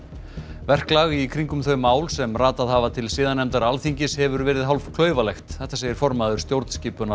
verklag í kringum þau mál sem ratað hafa til siðanefndar Alþingis hefur verið hálf klaufalegt þetta segir formaður stjórnskipunar og